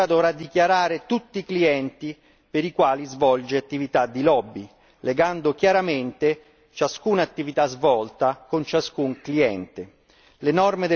Chi si registra dovrà dichiarare tutti i clienti per i quali svolge attività di lobby, legando chiaramente ciascuna attività svolta con ciascun cliente.